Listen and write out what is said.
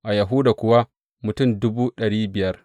A Yahuda kuwa mutum dubu ɗari biyar.